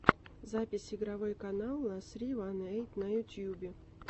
запись игровой канал ла ссри ван эйт на ютюбе